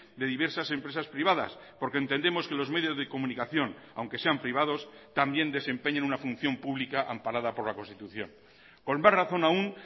de diversas empresas privadas porque entendemos que los medios de comunicación aunque sean privados también desempeñan una función pública amparada por la constitución con más razón aún